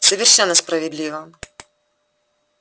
совершенно справедливо